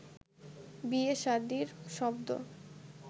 বিয়ে-শাদির শব্দ